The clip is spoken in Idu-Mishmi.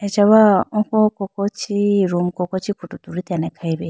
achawa oko koko chee room koko chee photo tulitene khayi bi.